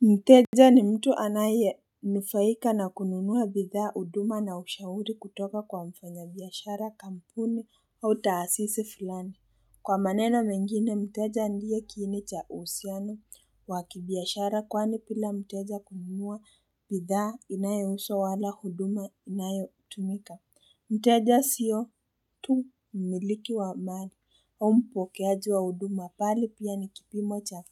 Mteja ni mtu anayenufaika na kununua bidhaa huduma na ushauri kutoka kwa mfanyabiashara kampuni au taasisi fulani. Kwa maneno mengine, mteja ndiye kiini cha uhusiano wa kibiashara kwani bila mteja kununua bidhaa inayouzwa wala huduma inayotumika. Mteja sio tu mmiliki wa mali, au mpokeaji wa huduma bali pia ni kipimo cha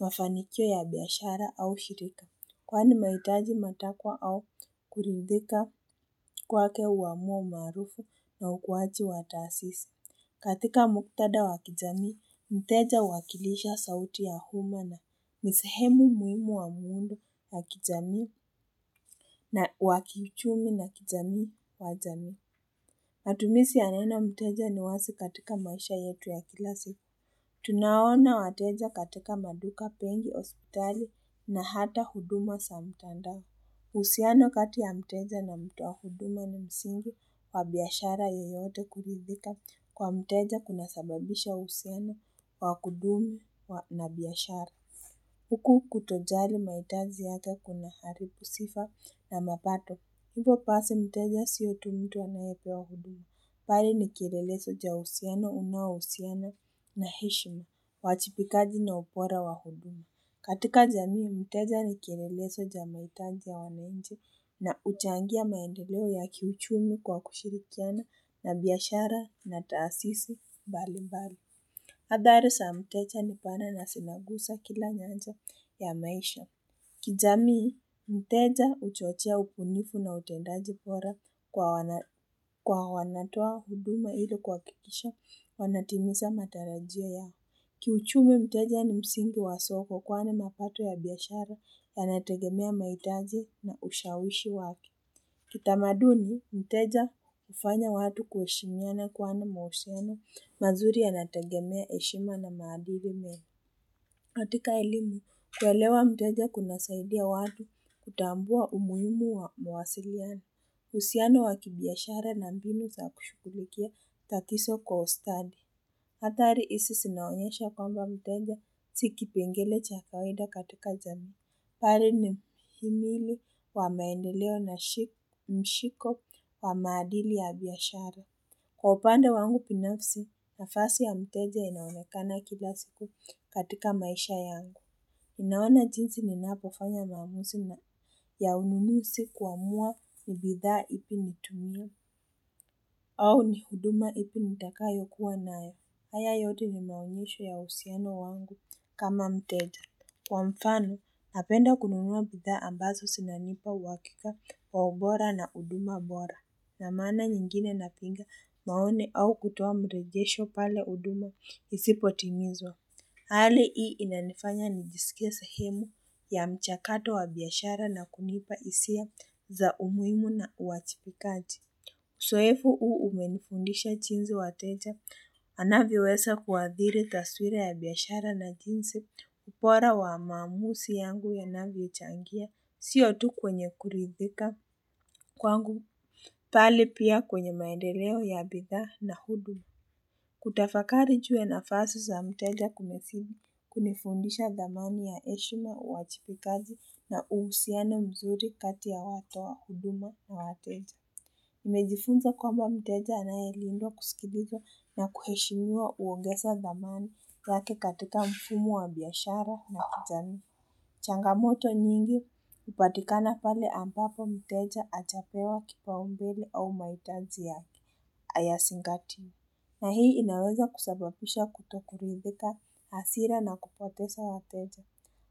mafanikio ya biashara au shirika. Kwani mahitaji matakwa au kuridhika kwake huamua umaarufu na ukuwaji wa taasisi. Katika muktadha wa kijamii, mteja huwakilisha sauti ya umma na ni sehemu muhimu wa muundo wa kijamii na wakiuchumi na kijamii wa jamii. Matumizi ya neno mteja ni wazi katika maisha yetu ya kila siku. Tunawoana wateja katika maduka benki hospitali na hata huduma za mtandao. Uhusiano kati ya mteja na mtu wa huduma na msingi wa biashara yoyote kuridhika kwa mteja kuna sababisha uhusiano wa kudumu na biashara. Huku kutojali mahitaji yake kuna haribu sifa na mapato. Hivyo basi mteja sio tu mtu anayepewa huduma. Bali ni kielelezo ya uhusiano, unaohusiana na heshima, wajibikaji na ubora wa huduma. Katika jamii, mteja ni kielelezo ya mahitaji ya wananchi na huchangia maendeleo ya kiuchumi kwa kushirikiana na biashara na taasisi mbali mbali. Athari za mteja ni pana na zinaguza kila nyanja ya maisha. Kijamii, mteja huchochea ubunifu na utendaji bora kwa wanatoa huduma ili kuhakikisha wanatimiza matarajio yao. Kiuchumi mteja ni msingi wa soko kwani mapato ya biashara yanategemea mahitaji na ushawishi wake. Kitamaduni, mteja hufanya watu kuheshimiana kwani mahusiano mazuri yanategemea heshima na maadili mema. Katika elimu, kuelewa mteja kuna saidia watu kutambua umuhimu wa mawasiliano. Uhusiano wa kibiashara na mbinu za kushughulikia tatizo kwa ustadi. Hatari hizi zinaonyesha kwamba mteja si kipengele cha kaweda katika jamii. Bali ni himili wa maendeleo na mshiko wa maadili ya biashara. Kwa upande wangu binafsi, nafasi ya mteja inaonekana kila siku katika maisha yangu. Naona jinsi ninapofanya maamuzi ya ununuzi kuamua ni bidhaa ipi nitumie au ni huduma ipi nitakayokuwa nayo. Haya yote ni maonyesho ya uhusiano wangu kama mteja. Kwa mfano, napenda kununua bidhaa ambazo zinanipa uhakika wa ubora na huduma bora. Na maana nyingine napinga maoni au kutoa mregesho pale huduma isipo timizwa. Hali hii inanifanya nijisikie sahemu ya mchakato wa biashara na kunipa hisia za umuhimu na uwajibikaji. Uzoefu huu umenifundisha jinsi wateja. Anavyoweza kuathiri taswira ya biashara na jinsi ubora wa maamuzi yangu yanavyochangia. Sio tu kwenye kuridhika kwangu. Bali pia kwenye maendeleo ya bidhaa na huduma. Kutafakari juu ya nafasi za mteja kumefili. Kunifundisha dhamani ya heshima, uwajibikaji na uhusiano mzuri kati ya watu wa huduma na wateja. Nimejifunza kwamba mteja anayelindwa kusikilizwa na kuheshimiwa huongeza dhamani yake katika mfumo wa biashara na kijamii. Changamoto nyingi hupatikana pale ambapo mteja hajapewa kipaumbele au mahitaji yake hayazingatiwi. Na hii inaweza kusababisha kutokuridhika hasira na kupoteza wateja.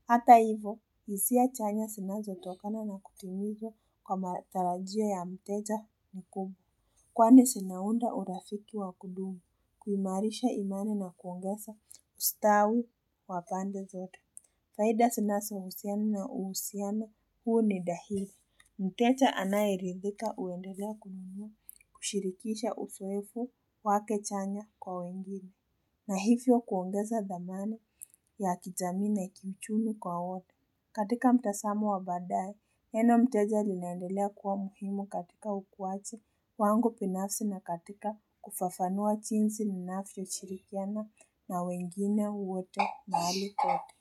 Hata hivyo, hisia chanya zinazotokana na kutumizwa kwa matarajio ya mteja mkubwa. Kwani zinaunda urafiki wa kudumu, kuimarisha imani na kuongeza ustawi wa pande zote. Faida zinazo husiana na uhusiano huu ni dahili. Mteja anayeridhika huendelea kununua kushirikisha uzoefu wake chanya kwa wengine. Na hivyo kuongeza dhamana ya kijamii na kiuchumi kwa wote. Katika mtazamo wa badaye, neno mteja linaendelea kuwa muhimu katika ukuwaji wangu binafsi na katika kufafanua jinsi ninavyoshirikiana na wengine wote mahali kote.